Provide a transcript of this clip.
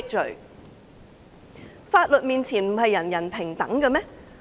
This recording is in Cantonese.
在法律面前，不是人人平等嗎？